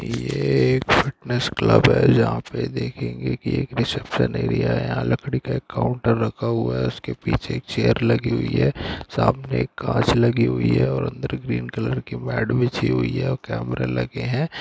ये एक fitness club हैजहां पे देखेंगे कि एक रिसेसप्शन एरिया है यहां एक लकड़ी का काऊन्‍टर रखा हुआ है उसके पीछे एक चेयर लगी हुई है सामने एक कांच लगी हुई है और अन्‍दरग्रीन कलर की मैड बिछी हुई है और कैमरा लगे है।